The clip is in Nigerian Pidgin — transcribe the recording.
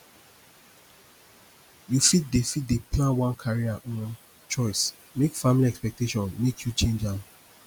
yu fit dey fit dey plan one career um choice mek family expectation mek yu change am